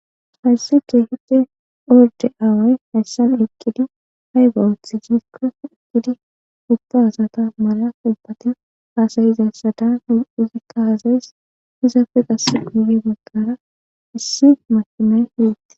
Hayissa kehippe ordde awayi hayissan eqqidi ayiba oththi gikko eqqidi ubba asati mala hasayizayisata izzikka hasayes.izzetti qase guye bagara issi makinayi betees.